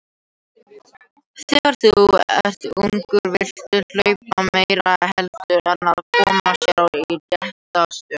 Þegar þú ert ungur viltu hlaupa meira heldur en að koma sér í rétta stöðu.